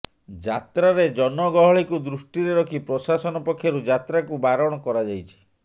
ଯାତ୍ରାରେ ଜନ ଗହଳିକୁ ଦୃଷ୍ଟିରେ ରଖି ପ୍ରଶାସନ ପକ୍ଷରୁ ଯାତ୍ରାକୁ ବାରଣ କରାଯାଇଛି